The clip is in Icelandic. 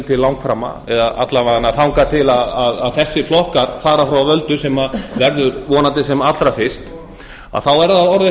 til langframa eða alla vega þangað til þessir flokkar fara frá völdum sem verður vonandi sem allra fyrst að þá er það orðið